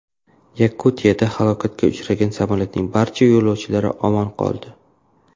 Yakutiyada halokatga uchragan samolyotning barcha yo‘lovchilari omon qoldi.